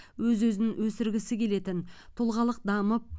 өз өзін өсіргісі келетін тұлғалық дамып